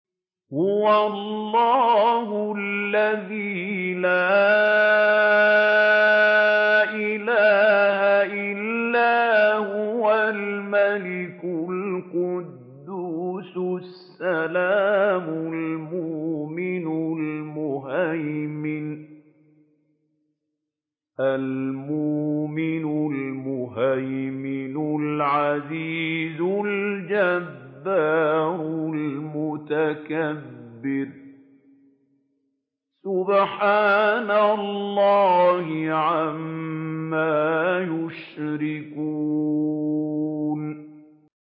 هُوَ اللَّهُ الَّذِي لَا إِلَٰهَ إِلَّا هُوَ الْمَلِكُ الْقُدُّوسُ السَّلَامُ الْمُؤْمِنُ الْمُهَيْمِنُ الْعَزِيزُ الْجَبَّارُ الْمُتَكَبِّرُ ۚ سُبْحَانَ اللَّهِ عَمَّا يُشْرِكُونَ